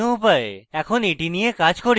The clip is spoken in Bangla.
এখন এটি নিয়ে কাজ করি